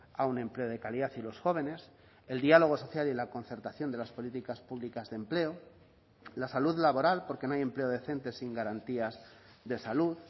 a un empleo de calidad y los jóvenes el diálogo social y la concertación de las políticas públicas de empleo la salud laboral porque no hay empleo decente sin garantías de salud